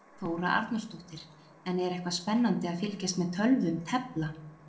Þóra Arnórsdóttir: En er eitthvað spennandi að fylgjast með tölvum tefla?